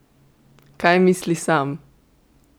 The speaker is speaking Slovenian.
Kaj misli sam?